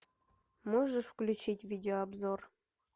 можешь включить видеообзор